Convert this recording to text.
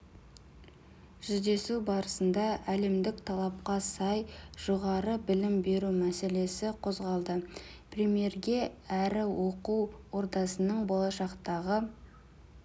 жүздесу барысында әлемдік талапқа сай жоғары білім беру мәселесі қозғалды премьерге әрі оқу ордасының болашақтағы